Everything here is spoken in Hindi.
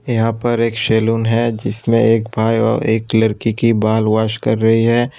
यहां पर एक सैलून है जिसमें एक बाई ओर एक लड़की की बाल वॉश कर रही है।